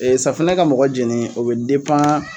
Ee safinɛ ka mɔgɔ jeni o be depan